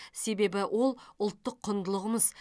себебі ол ұлттық құндылығымыз